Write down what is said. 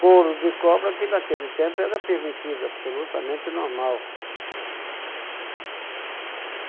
couro de cobra que naquele tempo era permitido, absolutamente normal.